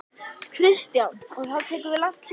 Kristján: Og þá tekur við langt hlé?